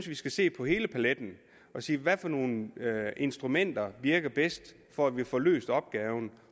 vi skal se på hele paletten og se hvad for nogle instrumenter virker bedst for at vi får løst opgaven